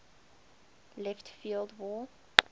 left field wall